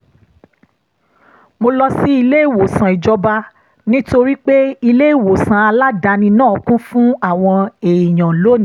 mo lọ sí ilé ìwòsàn ìjọba nítorí pé ilé ìwòsàn aládàáni náà kún fún àwọn èèyàn lónìí